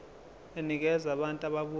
enikeza abantu ababuya